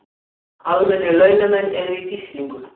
Almennir launamenn í gíslingu